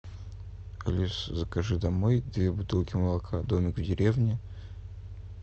алиса закажи домой две бутылки молока домик в деревне